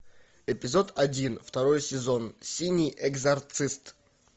эпизод один второй сезон синий экзорцист